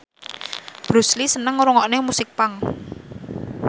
Bruce Lee seneng ngrungokne musik punk